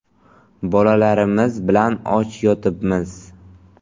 Bolalarimiz bilan och yotibmiz.